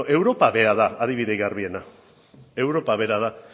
bueno europa bera da adibide garbiena europa bera da